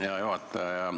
Hea juhataja!